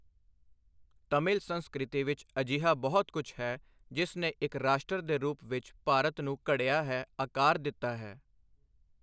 ਤਮਿਲ ਸੰਸਕ੍ਰਿਤੀ ਵਿੱਚ ਅਜਿਹਾ ਬਹੁਤ ਕਝ ਹੈ, ਜਿਸ ਨੇ ਇੱਕ ਰਾਸ਼ਟਰ ਦੇ ਰੂਪ ਵਿੱਚ ਭਾਰਤ ਨੂੰ ਘੜ੍ਹਿਆ ਹੈ, ਆਕਾਰ ਦਿੱਤਾ ਹੈ।